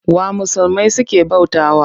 Wa musulmai suke bautawa?